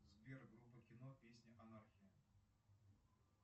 сбер группа кино песня анархия